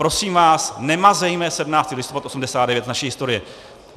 Prosím vás, nemazejme 17. listopad 1989 z naší historie.